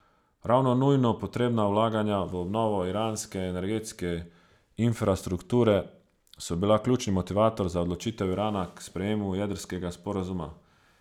Ravno nujno potrebna vlaganja v obnovo iranske energetske infrastrukture so bila ključni motivator za odločitev Irana k sprejemu jedrskega sporazuma.